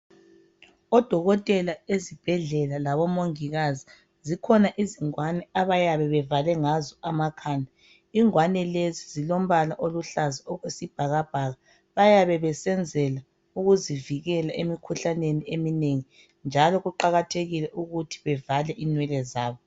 odokotela ezibhedlela labo mongikazi zikhona izingwane abayabe bevale ngazo emakhanda ingwane lezi zilombala oluhlaza okwesibhakabhaka bayabe besenzela ukuzivikela emkhuhlaneni emnengi njalo kuqakathekile ukuthi bevale inwele zabo